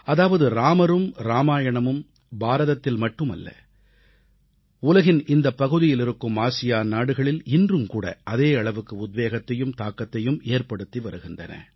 அதாவது ராமரும் ராமாயணமும் பாரதத்தில் மட்டுமல்ல உலகின் இந்தப் பகுதியிலிருக்கும் ஆசியான் நாடுகளில் இன்றும்கூட அதே அளவுக்கு உத்வேகத்தையும் தாக்கத்தையும் ஏற்படுத்தி வருகின்றன